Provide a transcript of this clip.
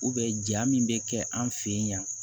ja min bɛ kɛ an fɛ yen